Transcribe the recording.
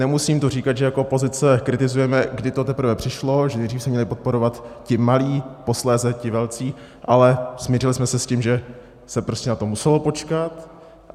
Nemusím tu říkat, že jako opozice kritizujeme, kdy to teprve přišlo, že nejdřív se měli podporovat ti malí, posléze ti velcí, ale smířili jsme se s tím, že se prostě na to muselo počkat.